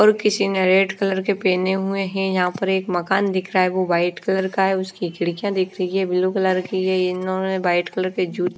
और किसी ने रेड कलर के पहने हुए हैं। यहां पर एक मकान दिख रहा है वह वाइट कलर का है। उसकी खिड़कियां देखनी है ब्लू कलर की है। ये इन्होंने वाइट कलर की जूते--